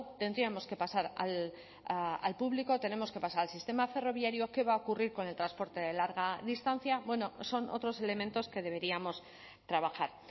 tendríamos que pasar al público tenemos que pasar al sistema ferroviario qué va a ocurrir con el transporte de larga distancia bueno son otros elementos que deberíamos trabajar